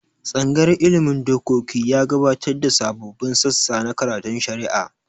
Tsangayar ilmin dokoki ya gabatar da sababbin sassa na karatun shari'a